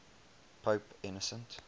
pope innocent